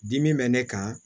Dimi bɛ ne kan